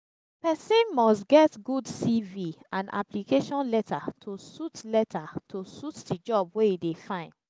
persin must get good cv and application letter to suit letter to suit the job wey e de find